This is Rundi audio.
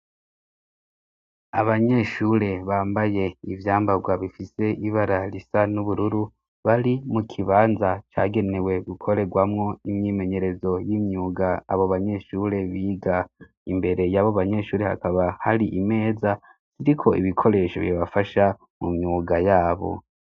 Abanyeshure bambaye ivyambarwa bifise ibara risa n'ubururu bari mu kibanza cagenewe gukorerwamwo imyimenyerezo y'imyuga abo banyeshure biga imbere yabo banyeshure hakaba hari imeza iriko ibikoresho bibafasha mu myuga yabo.